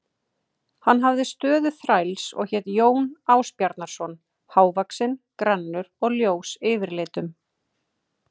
Hann hafði stöðu þræls og hét Jón Ásbjarnarson, hávaxinn, grannur og ljós yfirlitum.